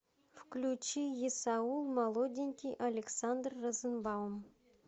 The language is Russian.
включи есаул молоденький александр розенбаум